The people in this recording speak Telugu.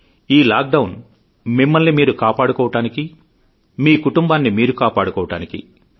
ఈ లాక్ డౌన్ మిమ్మల్ని మీరు కాపాడుకోవడానికీ మీ కుటుంబాన్ని మీరు కాపాడుకోవడానికీ